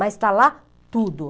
Mas está lá tudo.